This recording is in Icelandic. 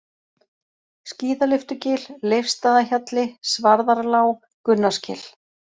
Skíðalyftugil, Leifsstaðahjalli, Svarðarlág, Gunnarsgil